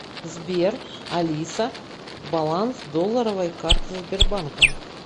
сбер алиса баланс долларовой карты сбербанка